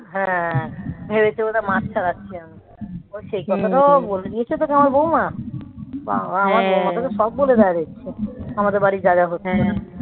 হ্যাঁ ভেবেছে বোধহয় মাছ ছাড়াচ্ছে ও সেই কথাটাও বলে দিয়েছে তোমার বৌমা বাবা আমার বৌমাটাকে সব বলে দেয় রে আমাদের বাড়ির যা যা হচ্ছে